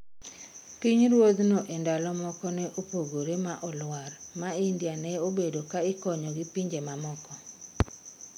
Piny ruodhno e ndalo moko ne opogore ma oluar ma India ne obedo ka ikonyo gi pinje mamoko